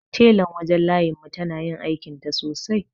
Telan wajen layin mu tana yin aikinta sosai.